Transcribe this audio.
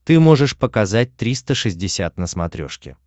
ты можешь показать триста шестьдесят на смотрешке